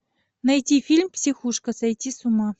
найти фильм психушка сойти с ума